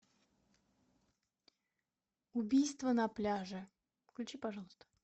убийство на пляже включи пожалуйста